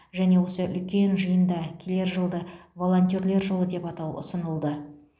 және осы үлкен жиында келер жылды волонтерлер жылы деп атау ұсынылды